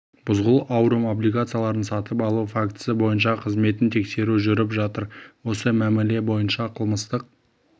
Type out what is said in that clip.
бузгул аурум облигацияларын сатып алу фактісі бойынша қызметін тексеру жүріп жатыр осы мәміле бойынша қылмыстық